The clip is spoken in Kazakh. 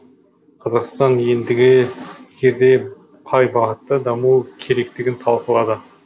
қазақстан ендігі жерде қай бағытта дамуы керектігін талқылады